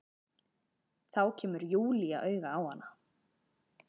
Þá kemur Júlía auga á hana.